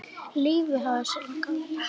Lífið hafði sinn gang.